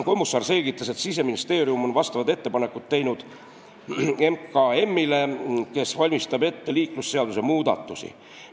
Kommusaar selgitas, et Siseministeerium on vastavad ettepanekud teinud Majandus- ja Kommunikatsiooniministeeriumile, kes valmistab ette liiklusseaduse muudatusi.